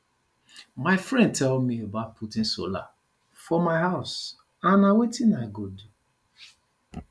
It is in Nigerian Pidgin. my friend tell me about putting solar for my house and na wetin i go do